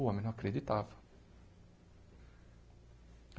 O homem não acreditava.